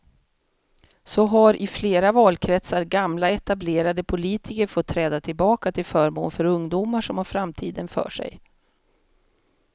Så har i flera valkretsar gamla etablerade politiker fått träda tillbaka till förmån för ungdomar som har framtiden för sig.